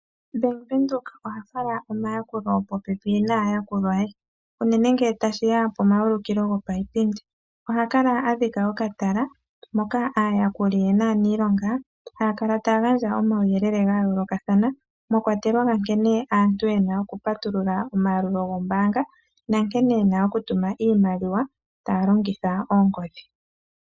Ombaanga yaWindhoek ohayi fala omayakulo popepi naayakulwa yawo, unene ngele tashi ya pomaulikilo gopayipindi. Ohaya kala ya dhika okatala, moka aayakuli ye naaniilonga haya kala taya gandja omawuyelele ga yoolokathana, mwa kwatelwa ga nkene aantu ye na okupatulula omayalulilo gombaanga nankene ye na okutuma iimaliwa taya longitha oongodhi.